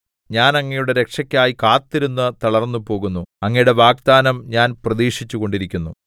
ഞാൻ അങ്ങയുടെ രക്ഷക്കായി കാത്തിരുന്ന് തളർന്നുപോകുന്നു അങ്ങയുടെ വാഗ്ദാനം ഞാൻ പ്രതീക്ഷിച്ചുകൊണ്ടിരിക്കുന്നു